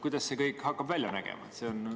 Kuidas see kõik hakkab välja nägema?